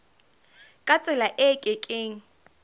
ka tsela e ke keng